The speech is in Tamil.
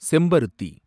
செம்பருத்தி